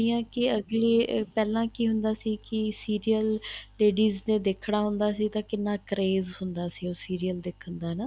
ਹੁਣੀ ਆ ਕੇ ਅੱਗਲੇ ਪਹਿਲਾਂ ਕੀ ਹੁੰਦਾ ਸੀ ਕੀ serial ladies ਨੇ ਦੇਖਣਾ ਹੁੰਦਾ ਸੀ ਤਾਂ ਕਿੰਨਾ craze ਹੁੰਦਾ ਸੀ ਉਸ serial ਦੇਖਣ ਦਾ ਹਨਾ